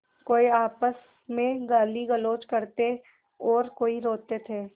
कोई आपस में गालीगलौज करते और कोई रोते थे